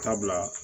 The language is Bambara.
Dabila